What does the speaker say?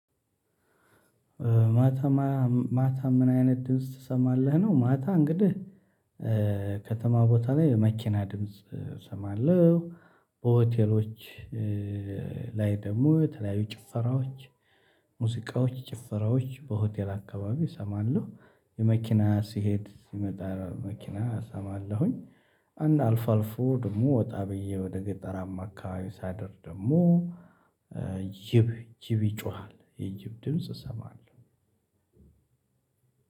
ማ ታ ምን አይነት ድምጽ ትሰማለህ ነው? ማታ እንግዲህ ከተማ ቦታ ላይ መኪና ድምጽ እሰማለሁ። በሆቴሎች ላይ ደግሞ የተለያዩ ጭፈራዎች ሙዚቃዎች ጭፈራዎች በሆቴል አካባቢ እሰማለሁ። የመኪና ሲሄድ ሲመጣ መኪና እሰማለሁኝ። አንድ አልፋልፎ ደግሞ ወጣ ብዬ ወደ ገጠራማ አካባቢ ሳደር ደግሞ ጅብ ጅብ ይጮሃል የጅብ ድምጽ እሰማለሁ።